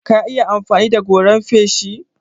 Ka iya amfani da goran feshi?